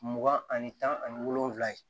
Mugan ani tan ani wolonwula ye